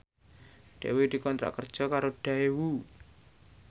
Dewi dikontrak kerja karo Daewoo